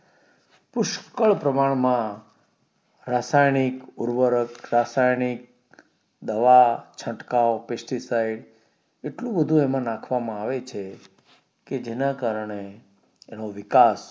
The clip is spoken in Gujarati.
પુષ્કળ પ્રમાણ માં રાસાયણિક ઉરવરક રાસાયણિક દવા છટકાવ pesticide એટલું બધું એમાં નાખવામાં આવે છે કે જેના કારણે એનો વિકાસ